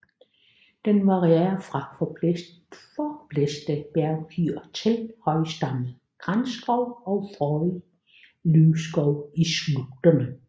Den varierer fra forblæste bjergfyr til højstammet granskov og frodig løvskov i slugterne